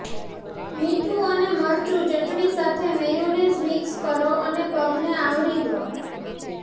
મીઠું અને મરચું ચટણી સાથે મેયોનેઝ મિક્સ કરો અને પગને આવરી દો